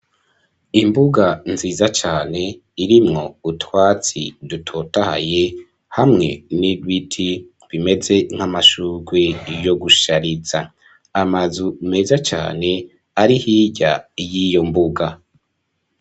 Imbuga nziza cane irimwo utwatsi dutotahaye, hamwe n'ibiti bimeze nk'amashugwe yo gushariza, amazu meza cane ari hirya y'iyo mbuga.